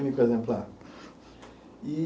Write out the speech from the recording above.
Único exemplar. E